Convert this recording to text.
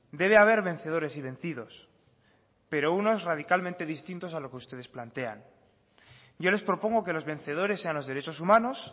debe haber vencedores y vencidos pero unos radicalmente distintos a lo que ustedes plantean yo les propongo que los vencedores sean los derechos humanos